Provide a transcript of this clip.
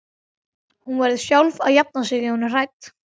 Hún verður sjálf að jafna sig ef hún er hrædd.